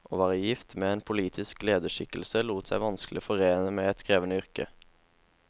Å være gift med en politisk lederskikkelse lot seg vanskelig forene med et krevende yrke.